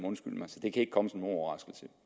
det kan ikke komme som nogen overraskelse